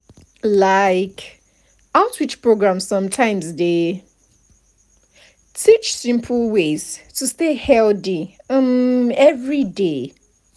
like outreach programs sometimes dey teach simple ways to stay healthy um everyday.